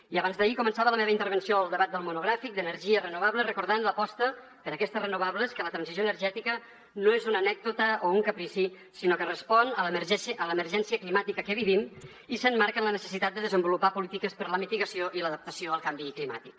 i abans d’ahir començava la meva intervenció al debat del monogràfic d’energies renovables recordant l’aposta per aquestes renovables que la transició energètica no és una anècdota o un caprici sinó que respon a l’emergència climàtica que vivim i s’emmarca en la necessitat de desenvolupar polítiques per a la mitigació i l’adaptació al canvi climàtic